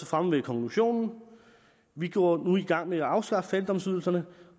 fremme ved konklusionen vi går nu i gang med at afskaffe fattigdomsydelserne